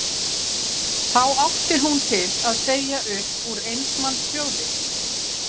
Þá átti hún til að segja upp úr eins manns hljóði